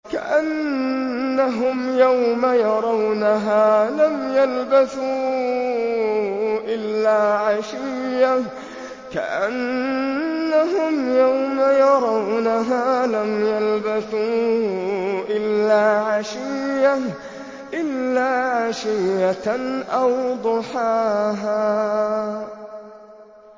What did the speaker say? كَأَنَّهُمْ يَوْمَ يَرَوْنَهَا لَمْ يَلْبَثُوا إِلَّا عَشِيَّةً أَوْ ضُحَاهَا